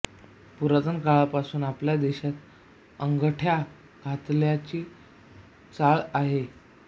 पुरातन काळापासून आपल्या देशात अंगठ्या घालताची चाल आहे